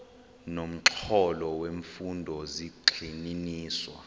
nomxholo wemfundo zigxininiswa